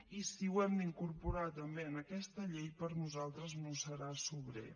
i si ho hem d’incorporar també en aquesta llei per nosaltres no serà sobrer